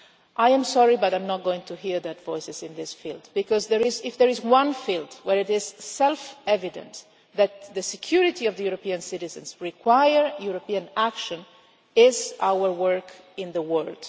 I am sorry but I am not going to hear those voices in this field because if there is one field where it is self evident that the security of the European citizens require European action, it is our work in the world.